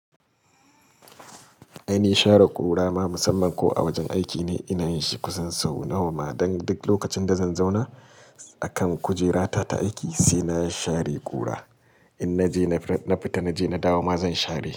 Ainihin share kura ma musamman ko a wajen aiki ne ina yin shi kusan sau nawa ma, don duk lokacin da zan zauna a kan kujerata ta aiki sai na share kura. In na je na fita na je na dawo ma zan share.